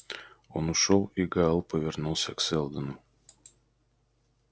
он ушёл и гаал повернулся к сэлдону